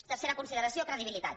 tercera consideració credibilitat